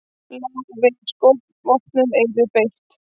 Lá við að skotvopnum yrði beitt